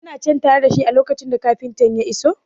Kana cen tare da shi a lokacin da kafintan ya iso?